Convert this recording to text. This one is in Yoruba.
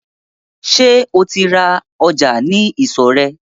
Sẹ́ o ti ń ra ọjà sí ìsọ̀ rẹ̀?